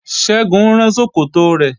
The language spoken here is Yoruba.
Ṣẹ́gun ń rán ṣòkòtò rẹ̀